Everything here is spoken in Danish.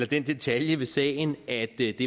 den detalje ved sagen at det